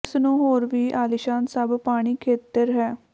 ਇਸ ਨੂੰ ਹੋਰ ਵੀ ਆਲੀਸ਼ਾਨ ਸਭ ਪਾਣੀ ਖੇਤਰ ਹੈ